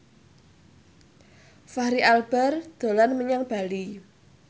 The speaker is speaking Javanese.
Fachri Albar dolan menyang Bali